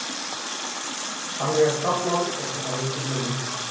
Þannig er taflan og það má engu muna.